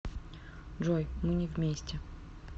джой мы не вместе